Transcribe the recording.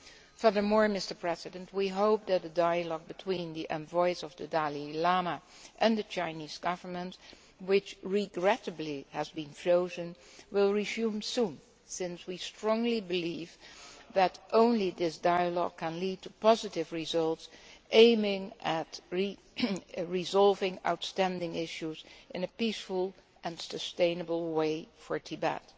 Furthermore, we hope that the dialogue between the envoys of the Dalai Lama and the Chinese Government which, regrettably, has been frozen will resume soon, since we strongly believe that only this dialogue can lead to positive results, by aiming at resolving outstanding issues in a peaceful and sustainable way for Tibet.